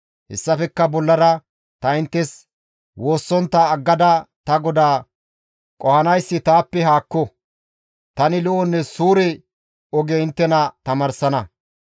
Hessafekka bollara ta inttes woossontta aggada ta GODAA qohanayssi taappe haakko. Tani lo7onne suure oge inttena tamaarsana.